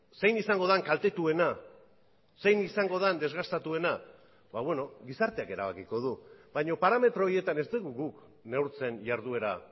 zein izango den kaltetuena zein izango den desgastatuena gizarteak erabakiko du baina parametro horietan ez dugu guk neurtzen jarduera